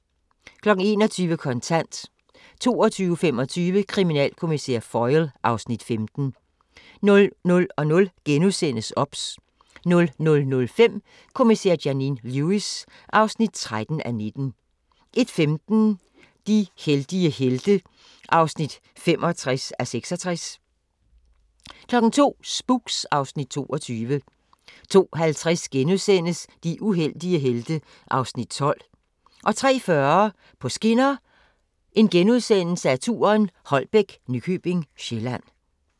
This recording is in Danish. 21:00: Kontant 22:25: Kriminalkommissær Foyle (Afs. 15) 00:00: OBS * 00:05: Kommissær Janine Lewis (13:19) 01:15: De heldige helte (65:66) 02:00: Spooks (Afs. 22) 02:50: De uheldige helte (Afs. 12)* 03:40: På skinner: Holbæk – Nykøbing Sjælland *